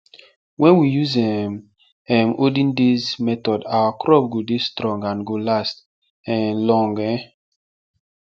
wen we use um um olden days method our crop go dey strong and go last um long um